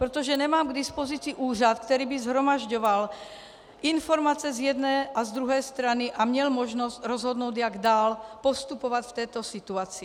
Protože nemám k dispozici úřad, který by shromažďoval informace z jedné a z druhé strany a měl možnost rozhodnout, jak dál postupovat v této situaci.